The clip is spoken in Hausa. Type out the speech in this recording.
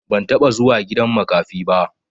Ban taɓa zuwa gidan makafi ba.